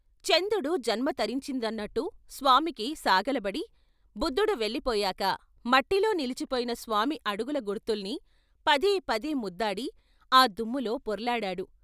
చందుడు జన్మ తరించింది అన్నట్టు స్వామికి సాగిలబడి, బుద్దుడు వెళ్ళిపోయాక మట్టిలో నిలిచిపోయిన స్వామి అడుగుల గుర్తుల్ని పదేపదే ముద్దాడి ఆ దుమ్ములో పొర్లాడాడు.